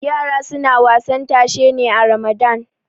yara suna wasan tashe ne a ramadan